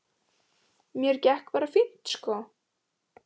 Mér gekk bara fínt sko.